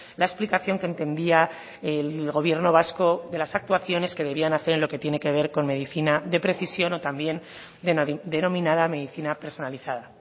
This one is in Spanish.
la explicación que entendía el gobierno vasco de las actuaciones que debían hacer en lo que tiene que ver con medicina de precisión o también denominada medicina personalizada